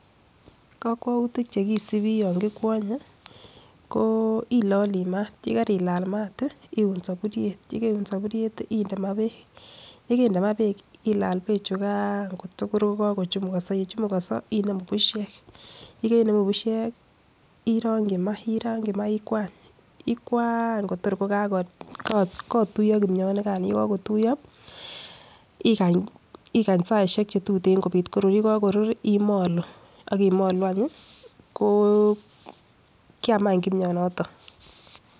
Kokwoutik chekisibii yan kikwonye ko ilolii maat, yekarilaal maat ih iun soburiet yekeun soburiet inde maa beek yekende maa beek ilal beek chukan kotor kokakochumukonso yechumukonso inemu bushek yekeinemu bushek irongyi maa, irongyi maa ikwany, ikwaany tor kokatuiyo kimionikan yekokotuiyo ikany ikany saisiek chetuten kobit korur yekakorur imolu ak imolu any ih ko kiam any kimionoton.